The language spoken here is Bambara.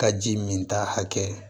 Ka ji min ta hakɛ